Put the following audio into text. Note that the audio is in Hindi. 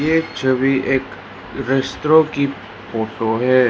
एक छवि एक रेस्ट्रो की फोटो है।